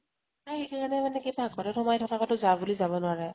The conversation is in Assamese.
তাৰ সেই কাৰণে মানে কি পাক ঘৰত সোমাই থাকোকে যাওঁ বুলি যাব নোৱাৰে।